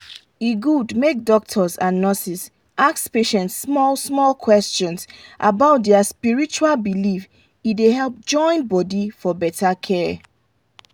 e good make doctors and nurses ask patient small small questions about their spiritual belief e dey help join body for better care.